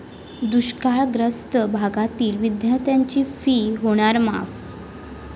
दुष्काळग्रस्त भागातील विद्यार्थ्यांची 'फी' होणार माफ!